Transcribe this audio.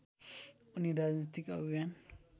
उनी राजनीतिक अभियान